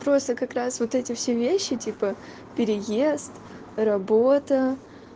просто как раз вот эти все вещи типа переезд работа